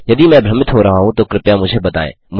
यदि मैं भ्रमित हो रहा हूँ तो कृपया मुझे बताएँ